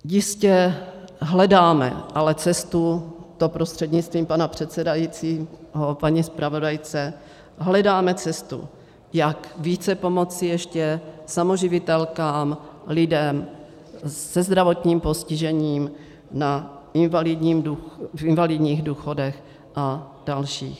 Jistě hledáme ale cestu, to prostřednictvím pana předsedajícího paní zpravodajce, hledáme cestu, jak více pomoci ještě samoživitelkám, lidem se zdravotním postižením, v invalidních důchodech a dalších.